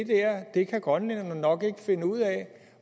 der kan grønlænderne nok ikke finde ud af